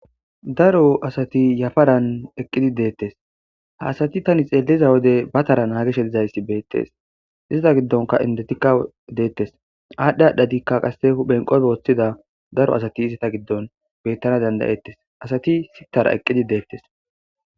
daro asati yafaran eqqidi deettes ha asati tani xeeliza wode ba tara naagishe dizaysi beettees izata giddonka indetikka deettes aadhdhe adhadikka qasse huphen qophe woththida daro asati izata giddon bettana danda7ettes asati sittara eqqidi deettes.